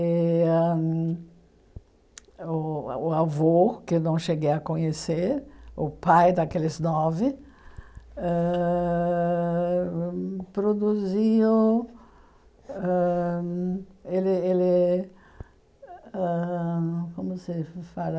E ãh hum o o avô, que não cheguei a conhecer, o pai daqueles nove, ãh hum produziu... ãh hum Ele ele... ãh hum Como se fala?